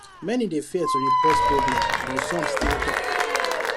many dey fear to report problem but some still talk